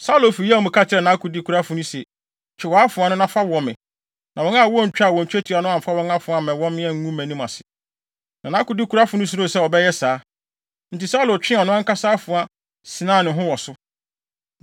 Saulo fi yaw mu ka kyerɛɛ nʼakodekurafo no se, “Twe wʼafoa no, na fa wɔ me, na wɔn a wontwaa twetia no amfa wɔn afoa ammɛwɔ me, angu mʼanim ase.” Na nʼakodekurafo no suroo sɛ ɔbɛyɛ saa. Enti Saulo twee ɔno ankasa afoa sinaa ne ho wɔ so.